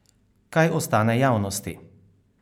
Kaj ostane javnosti?